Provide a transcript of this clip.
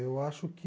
Eu acho que...